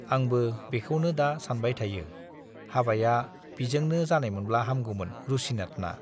आंबो बेखौनो दा सानबाय थायो - हाबाया बिजोंनो जानायमोनब्ला हामगौमोन रुसिनाथना।